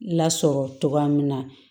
Lasɔrɔ cogoya min na